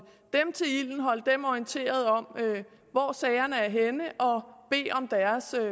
dem til ilden holde dem orienteret om hvor sagerne er henne